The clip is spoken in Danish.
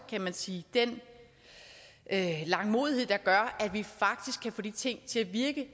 kan sige den langmodighed der gør at vi faktisk kan få de ting